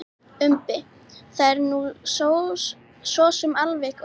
Umbi: Það er nú sosum alveg óþarfi.